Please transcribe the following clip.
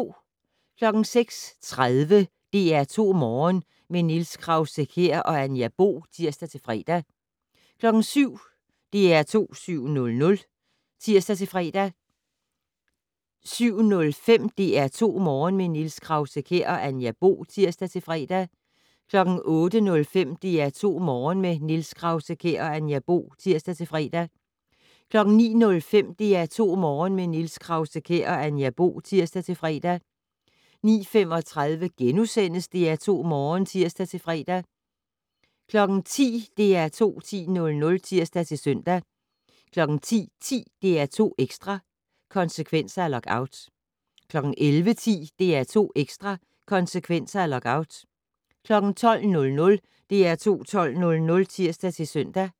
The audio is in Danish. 06:30: DR2 Morgen - med Niels Krause-Kjær og Anja Bo (tir-fre) 07:00: DR2 7:00 (tir-fre) 07:05: DR2 Morgen - med Niels Krause-Kjær og Anja Bo (tir-fre) 08:05: DR2 Morgen - med Niels Krause-Kjær og Anja Bo (tir-fre) 09:05: DR2 Morgen - med Niels Krause-Kjær og Anja Bo (tir-fre) 09:35: DR2 Morgen *(tir-fre) 10:00: DR2 10:00 (tir-søn) 10:10: DR2 Ekstra: Konsekvenser af lockout 11:10: DR2 Ekstra: Konsekvenser af lockout 12:00: DR2 12:00 (tir-søn)